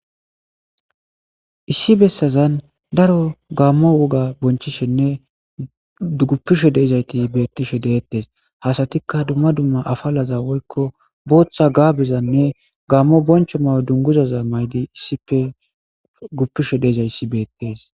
Issi bessazan daaro gamo wogga bonchishene guffishe deizayti betishe de'etes ha asatikka dumma dumma afalaza woykko boththa gabbezanne gammo boncho mayo dungguzaza mayidi issipe gufishe deizayssi bettes.